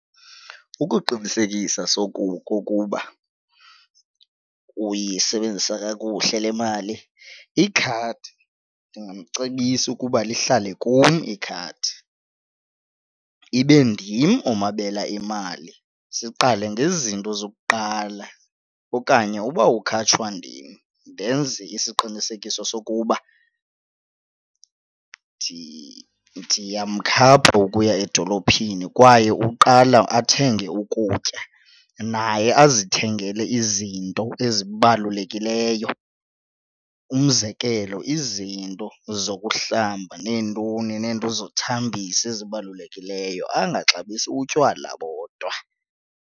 Ukuqinisekisa okokuba uyisebenzisa kakuhle le mali ikhadi, ndingamcebisa ukuba lihlale kum ikhadi ibe ndim omabela imali siqale ngezinto zokuqala. Okanye uba ukhatshwa ndim ndenze isiqinisekiso sokuba ndiyamkhapha ukuya edolophini kwaye uqala athenge ukutya naye azithengele izinto ezibalulekileyo, umzekelo izinto zokuhlamba neentoni neentoni zokuthambisa ezibalulekileyo angaxabisi utywala bodwa.